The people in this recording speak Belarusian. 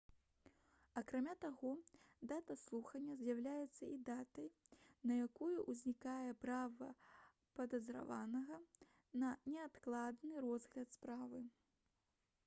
акрамя таго дата слухання з'яўляецца і датай на якую ўзнікае права падазраванага на неадкладны разгляд справы